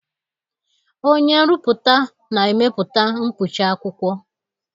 Onye nrụpụta na-emepụta mkpuchi akwụkwọ.